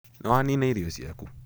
Nĩwanina irio ciaku?